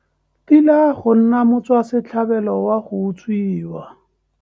Tila go nna motswasetlhabelo wa go utswiwa.